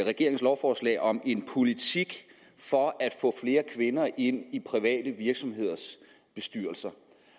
regeringens lovforslag om en politik for at få flere kvinder ind i private virksomheders bestyrelser